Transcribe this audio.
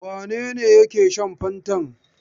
Wane ne yake shan fantan?